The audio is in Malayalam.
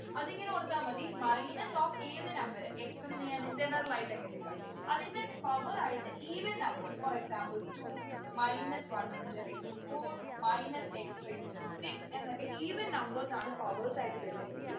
അതിങ്ങനെ കൊടുത്താ മതി minus of ഏത് number x എന്ന് ഞാൻ general ആയിട്ടങ്ങെടുക്കാം അതിൻ്റെ power ആയിട്ട് even numbers for example two minus one into raised to four minus x raised to six എന്നൊക്കെ even numbers ആണ് powers ആയിട്ട് വരുന്നേ എങ്കിൽ